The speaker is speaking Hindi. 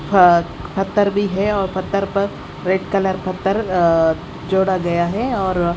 अह पत्थर भी है और पत्थर पर रेड कलर पत्थर अ जोड़ा गया है और--